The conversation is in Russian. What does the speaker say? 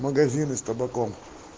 магазины с табаком